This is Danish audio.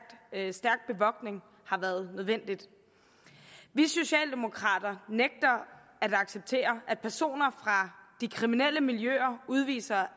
bevogtning har været nødvendig vi socialdemokrater nægter at acceptere at personer fra de kriminelle miljøer udviser